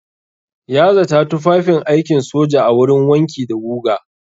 Ya zata tufafin aikin soja a wurin wanki da guga.